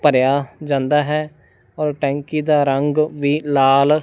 ਭਰਿਆ ਜਾਂਦਾ ਹੈ ਟੈਂਕੀ ਦਾ ਰੰਗ ਵੀ ਲਾਲ--